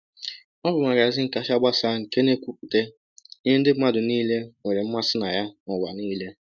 Ọ bụ magazin kacha gbasaa nke na-ekwupụta ihe ndị mmadụ niile nwere mmasị na ya n’ụwa niile!